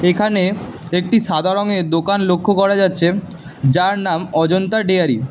এখানে একটি সাদা রঙের দোকান লক্ষ্য করা যাচ্ছে যার নাম অজন্তা ডেয়ারি ।